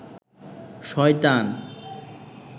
শয়তান